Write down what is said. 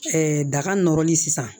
daga nɔrɔli sisan